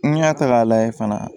N'i y'a ta k'a lajɛ fana